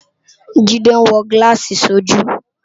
Tade n wò gilási sójú